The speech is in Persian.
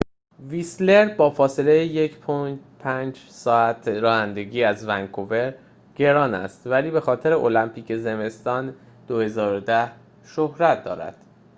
ویسلر با فاصله 1.5 ساعت رانندگی از ونکور گران است ولی بخاطر المپیک زمستان 2010 شهرت دارد